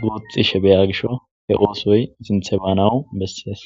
guxishe biyans gishaw hw oaoy sinthe banaw beses.